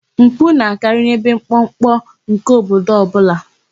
Mpụ na-akarị n'ebe mkpọmkpọ nke obodo ọbụla.